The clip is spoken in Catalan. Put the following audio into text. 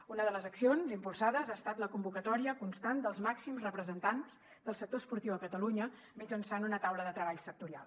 una de les accions impulsades ha estat la convocatòria constant dels màxims representants del sector esportiu a catalunya mitjançant una taula de treball sectorial